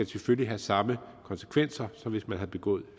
selvfølgelig have samme konsekvenser som hvis man har begået